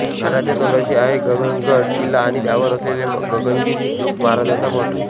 घाटाच्या तोंडाशी आहे गगनगड किल्ला आणि त्यावर असलेला गगनगिरी महाराजांचा मठ